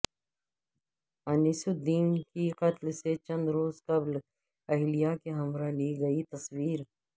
انیس الدین کی قتل سے چند روز قبل اہلیہ کے ہمراہ لی گئی تصویر